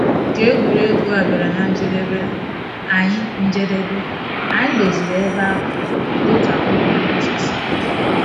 Ka egwuregwu a bịara na njedebe, anyị njedebe, anyị doziri ebe ahụ dịka ụkpụrụ mgbaso si dị